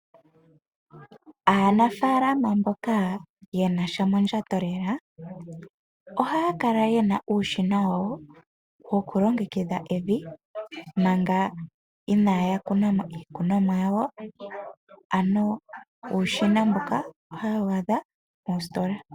Aanafaalama mboka ye nasha mondjato lela, ohaya kala yena uushina wa wo, wo ku longekidha evi mpanga inaya kuna mo iikunomwa yawo. Ano uushina mbuka ohaye wu a dha moositola .